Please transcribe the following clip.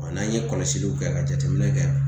N'an ye kɔlɔsiliw kɛ ka jateminɛ kɛ